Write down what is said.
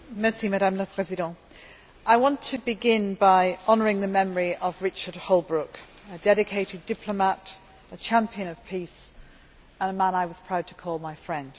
Madam President, I want to begin by honouring the memory of Richard Holbrooke, a dedicated diplomat, a champion of peace and a man I was proud to call my friend.